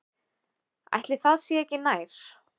Ætli það sé ekki nær.